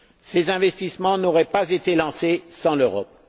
Ces investissements n'auraient pas été lancés sans l'Europe.